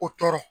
O tɔɔrɔ